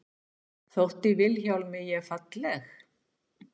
Þótti Vilhjálmi ég falleg?